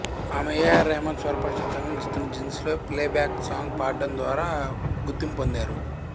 ఆమె A R Rahman స్వరపరచిన తమిళ చిత్రం జీన్స్లో ప్లేబ్యాక్ సాంగ్ పాడడం ద్వరా గుర్తింపు పొందారు